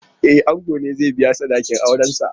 E, ango ne zai biya sadakin aurensa.